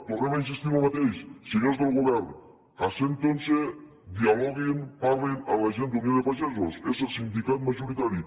tornem a insistir en lo mateix senyors del govern asseguin se dialoguin parlin amb la gent d’unió de pagesos és el sindicat majoritari